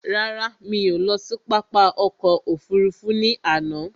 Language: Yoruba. Rárá, mí ò lọ sí pápá ọkò òfurufú ní àná.